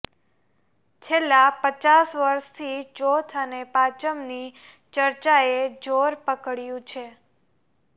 છેલ્લા પચાસ વર્ષથી ચોથ અને પાચમની ચર્ચાએ જોર પકડ્યું છે